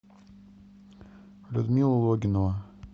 людмила логинова